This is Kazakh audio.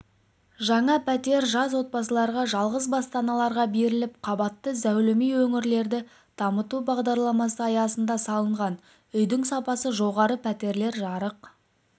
жаңа пәтер жас отбасыларға жалғыз басты аналарға берілді қабатты зәулім үй өңірлерді дамыту бағдарламасы аясында салынған үйдің сапасы жоғары пәтерлер жарық